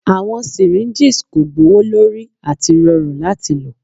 Awọn syringes ko gbowolori ati rọrun lati lo